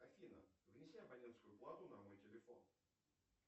афина внеси абонентскую плату на мой телефон